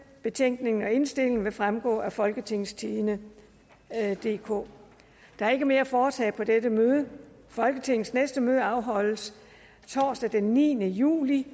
betænkningen og indstillingen vil fremgå af folketingstidende DK der er ikke mere at foretage i dette møde folketingets næste møde afholdes torsdag den niende juli